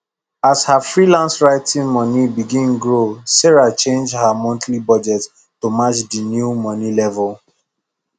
as her freelance writing money begin grow sarah change her monthly budget to match the new money level